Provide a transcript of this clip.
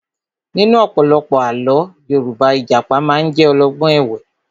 Nínú ọ̀pọ̀lọpọ̀ àlọ́ Yorùbá, Ìjàpá máa ń jẹ́ olọ́gbọ́n ẹ̀wẹ́